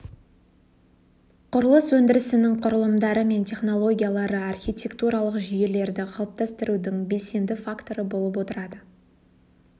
құрылыс өндірісінің құрылымдары мен технологиялары архитектуралық жүйелерді қалыптастырудың белсенді факторы болып отырады